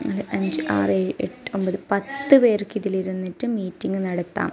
നാല് അഞ്ച് ആറ് ഏഴ് എട്ട് ഒമ്പത് പത്ത് പേർക്ക് ഇതിലിരുന്നിട്ട് മീറ്റിംഗ് നടത്താം.